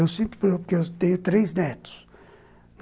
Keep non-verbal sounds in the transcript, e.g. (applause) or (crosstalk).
Eu sinto (unintelligible) eu tenho três netos.